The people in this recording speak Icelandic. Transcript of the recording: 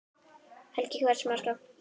Helga: Hversu margar?